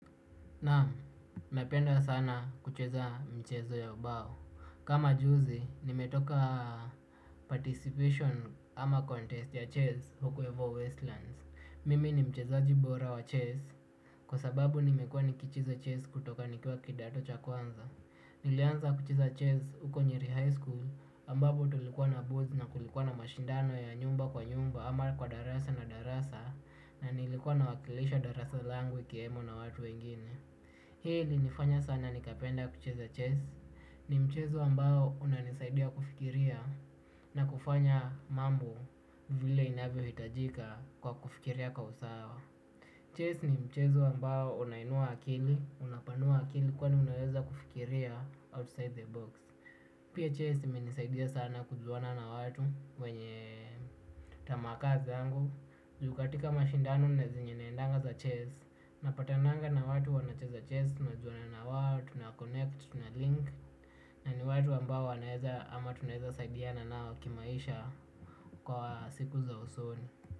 Naam, napenda sana kucheza michezo ya ubao. Kama juzi, nimetoka participation ama contest ya chess huko ivo Westlands. Mimi ni mchezaji bora wa chess kwa sababu nimekuwa nikicheza chess kutoka nikiwa kidato cha kwanza. Nilianza kucheza chess huko nyeri high school ambabo tulikuwa na booth na kulikuwa na mashindano ya nyumba kwa nyumba ama kwa darasa na darasa na nilikua na wakilisha darasa langu ikiwemo na watu wengine. Hii ili nifanya sana nikapenda kucheza chess, ni mchezo ambao unanisaidia kufikiria na kufanya mambo vile inavyo hitajika kwa kufikiria kwa usawa. Chess ni mchezu ambao unainua akili, unapanua akili kwa ni unaweza kufikiria outside the box. Pia chess imenisaidia sana kujuana na watu wenye tamaa kaa zangu. Juu katika mashindano na zenye naendanga za chess napatananga na watu wanacheza chess, tunajuana na wao, tunaconnect, tunalink. Na ni watu ambao wanaeza ama tunaeza saidiana nao kimaisha kwa siku za usoni.